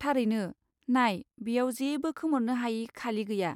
थारैनो। नाय, बेयाव जेबो खोमोरनो हायि खालि गैया।